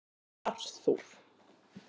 Arthur